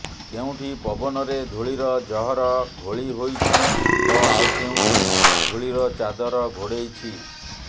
କେଉଁଠି ପବନରେ ଧୂଳିର ଜହର ଘୋଳି ହୋଇଛି ତ ଆଉ କେଉଁଠି ଧୂଳିର ଚାଦର ଘୋଡେଇଛି